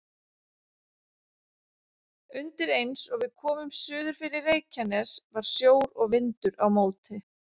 Undir eins og við komum suður fyrir Reykjanes var sjór og vindur á móti.